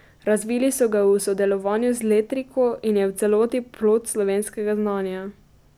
Razvili so ga v sodelovanju z Letriko in je v celoti plod slovenskega znanja.